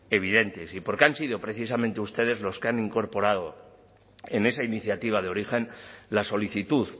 evidentes y porque han sido precisamente ustedes los que han incorporado en esa iniciativa de origen la solicitud